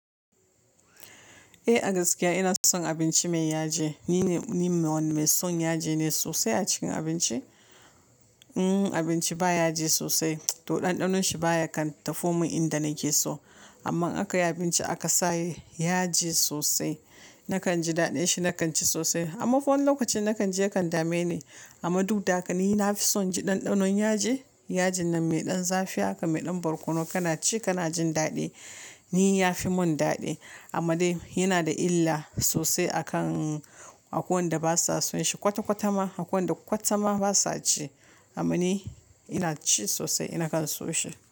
Eh, a gaskiya ina son abinci mai yaji. Ni me son yaji ne sosai a cikin abinci. In abinci ba yaji sosai, toh ɗanɗanon shi baya kan tafo min inda nake so. Amma aka yi abinci aka sa yaji sosai, na kan ji daɗin shi, na kan ci sosai. Amma fa wani lokaci na kan ji ya kan dame ni. Amma duk da haka ni na fi son ji ɗanɗanon yaji. Yaji nan mai ɗan zafi haka, mai ɗan barkono kana ci kana jin daɗi. Ni ya fi mun daɗi amma dai yana da illa sosai a kan a ko wanɗa ba sa son shi. Kwata-kwata ma, akwai waɗan kwata ma ba sa ci. Amma ni, ina ci sosai, ina kan so shi.